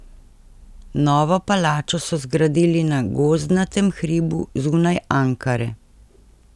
Novo palačo so zgradili na gozdnatem hribu zunaj Ankare.